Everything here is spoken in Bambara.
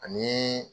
Ani